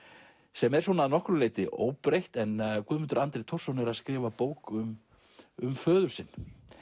sem er að nokkru leyti óbreytt en Guðmundur Andri Thorsson er að skrifa bók um um föður sinn